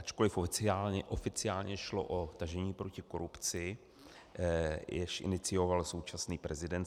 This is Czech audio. Ačkoliv oficiálně šlo o tažení proti korupci, jež inicioval současný prezident